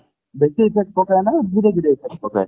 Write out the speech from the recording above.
ବେଶି affect ପକାଏ ନା ଧୀରେ ଧୀରେ effect ପକାଏ